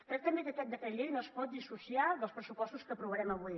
crec també que aquest decret llei no es pot dissociar dels pressupostos que aprovarem avui